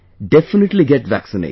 Definitely get vaccinated